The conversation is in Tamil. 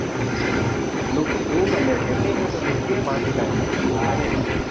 look க்கு டும் அந்த headlight ஓட look ஏ மாத்திட்டானுங்க நல்லாவே இல்லை